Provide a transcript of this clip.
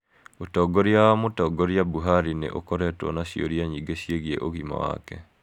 Ũtongoria wa Mũtongoria Buhari nĩ ũkoretwo na ciũria nyingĩ ciĩgiĩ ũgima wake .